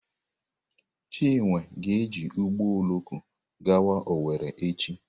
Chinwe ga-eji ụgbọ oloko gawa Owere echi.